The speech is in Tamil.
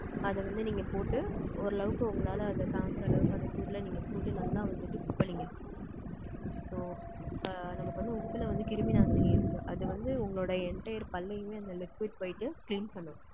அதை வந்து, நீங்க போட்டு, ஓரளவுக்கு, உங்களால, அதை தாங்குற அளவுக்கு, அந்த சூடுல, நீங்க போட்டு, நல்லா வந்துட்டு, கொப்பளிங்க. So, அ, நமக்கு வந்து, உப்புல வந்து, கிருமி நாசினி இருக்கு. அது வந்து, உங்களுடைய, entire பல்லயுமே, அந்த liquid போயிட்டு, clean பண்ணும்.